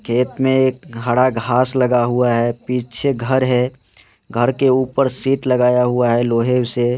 खेत में हरा घास लगा हुआ है पीछे घर है घर के ऊपर शीट लगाया हुआ है लोहे से।